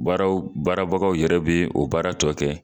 Baararaw baarabagaw yɛrɛ bɛ o baara tɔ kɛ.